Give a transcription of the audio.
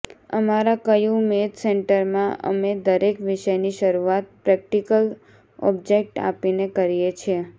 અમારા Q math સેન્ટરમાં અમે દરેક વિષયની શરૂઆત પ્રેકટીકલ ઓબ્જેકટ આપીને કરીએ છીએ